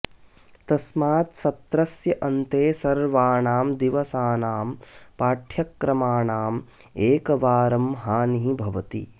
तस्मात् सत्रस्य अन्ते सर्वाणां दिवसानां पाठ्यक्रमानां एकवार हानिः भवति